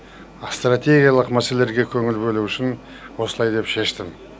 стратегиялық мәселелерге көңіл бөлу үшін осылай деп шештім